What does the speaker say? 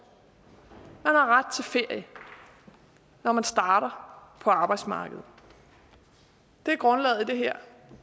har ret til ferie når man starter på arbejdsmarkedet det er grundlaget i det her